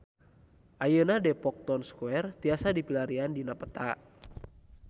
Ayeuna Depok Town Square tiasa dipilarian dina peta